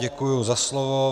Děkuji za slovo.